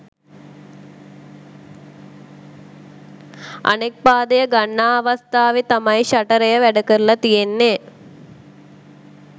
අනෙක් පාදය ගන්නා අවස්ථාවෙ තමයි ෂටරය වැඩ කරල තියෙන්නෙ.